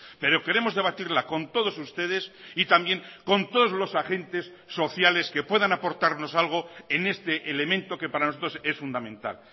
pero queremos debatirla con todos ustedes y también con todos los agentes sociales que puedan aportarnos algo en este elemento que para nosotros es fundamental